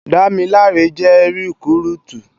Damilare jè rikúrútú